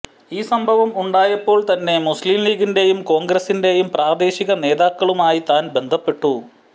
ഈ സംഭവം ഉണ്ടായപ്പോള് തന്നെ മുസ്ലിംലീഗിന്റെയും കോണ്ഗ്രസിന്റെയും പ്രാദേശിക നേതാക്കളുമായി താന് ബന്ധപ്പെട്ടു